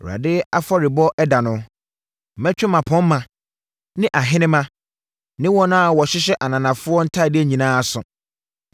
“ Awurade afɔrebɔ ɛda no, mɛtwe mmapɔmma ne ahenemma ne wɔn a wɔhyehyɛ ananafoɔ ntadeɛ nyinaa aso.